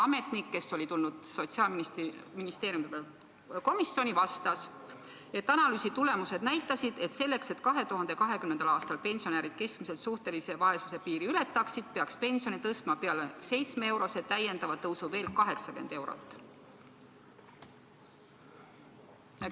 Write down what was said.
" Ametnik, kes oli tulnud Sotsiaalministeeriumist komisjoni, vastas, et analüüsi tulemused näitasid, et selleks, et 2020. aastal pensionärid keskmiselt suhtelise vaesuse piiri ületaksid, peaks pensioni tõstma peale 7-eurose täiendava tõusu veel 80 eurot.